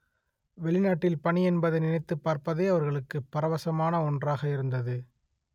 வெளிநாட்டில் பணி என்பதை நினைத்து பார்ப்பதே அவர்களுக்கு பரவசமான ஒன்றாக இருந்தது